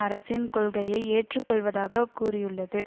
அரசின் கொள்கையை ஏற்றுக்கொள்வதாக கூறியுள்ளது